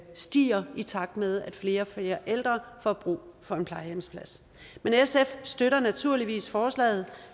stiger i takt med at flere og flere ældre får brug for en plejehjemsplads men sf støtter naturligvis forslaget